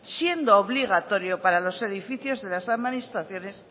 siendo obligatorio para los edificios de las administraciones